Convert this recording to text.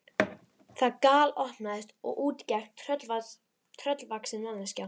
Það galopnaðist og út gekk tröllvaxin mannvera.